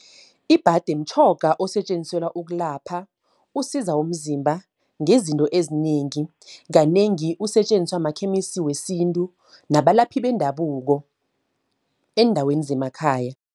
Ibhade mtjhoga osetjenziselwa ukulapha. Usiza umzimba ngezinto ezinengi. Kanengi usetjenziswa makhemisi wesintu nabalaphi bendabuko, eendaweni zemakhaya.